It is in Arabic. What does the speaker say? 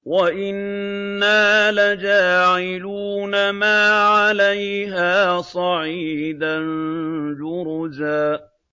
وَإِنَّا لَجَاعِلُونَ مَا عَلَيْهَا صَعِيدًا جُرُزًا